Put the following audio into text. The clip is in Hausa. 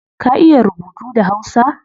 Ka iya rubutu da hausa?